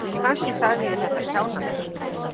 Kannski sagði ég þetta kjánalega.